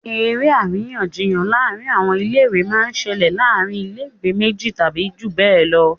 eré àríyànjiyàn láàrin àwọn ilé ìwé máa ń ṣẹlẹ̀ láàrin ilé ìwé méjì tàbí jù bẹ́ẹ̀ lọ